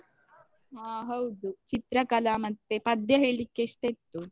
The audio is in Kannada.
ಆ ಹೌದು ಚಿತ್ರಕಲಾ ಮತ್ತೆ ಪದ್ಯ ಹೇಳಿಕ್ಕೆ ಇಷ್ಟ ಇತ್ತು.